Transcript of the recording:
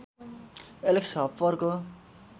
Alex हप्परको